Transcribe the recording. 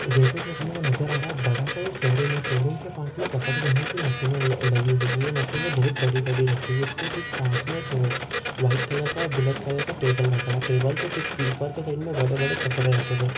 जैसे की अपने को नज़र आ रहा है बड़ासा ये शोरूम है। शोरूम के पास मे कपडे धोने की मशिने ल लगी हुई है ये मशिने बहुत बड़ी बड़ी रखी हुई उसके ठीक पास मे एक और व्हाइट कलर का और ब्लॅक कलर का टेबल रखा टेबल के ठीक उपर के साईड मे बड़े बड़े कपड़े रखे हुए है।